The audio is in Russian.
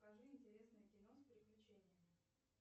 покажи интересное кино с приключениями